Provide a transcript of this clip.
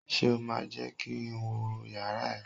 Ṣé o máa jẹ́ kí n wọ yàrá ẹ?